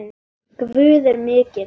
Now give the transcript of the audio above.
Guð er mikill.